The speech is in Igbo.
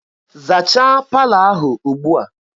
Zachaa palọ ahụ ugbua!